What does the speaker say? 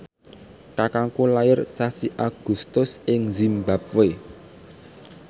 kakangku lair sasi Agustus ing zimbabwe